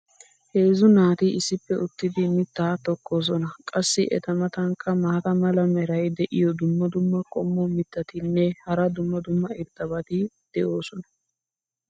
heezzu naati issippe uttidi mitaa tokkosoona. qassi eta matankka maata mala meray diyo dumma dumma qommo mitattinne hara dumma dumma irxxabati de'oosona.